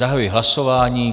Zahajuji hlasování.